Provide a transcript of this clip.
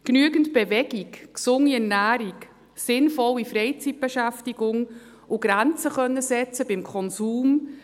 Genügend Bewegung, gesunde Ernährung, sinnvolle Freizeitbeschäftigung und beim Konsum Grenzen setzen können: